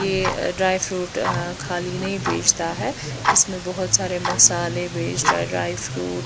ये dry fruit अ खाली नही भेजता है इसमें बहोत सारे मसाले बेच ड्राय फ्रूट --